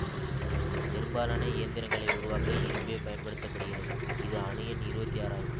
பெரும்பாலான இயந்திரங்களை உருவாக்க இரும்பே பயன்படுத்த படுகிறது இதன் அணு எண் இருபத்தி ஆறாகும்